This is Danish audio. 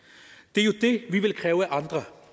det er jo det vi vil kræve af andre